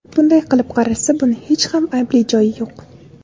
Bunday olib qaralsa, buni hech ham aybli joyi yo‘q.